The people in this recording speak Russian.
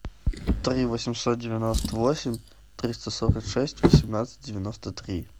три восемьсот девяносто восемь триста сорок шесть восемнадцать девяносто три